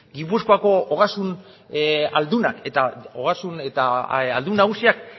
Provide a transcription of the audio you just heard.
gipuzkoako ogasun aldunak eta ogasun eta aldun nagusiak